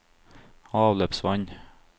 avløpsvann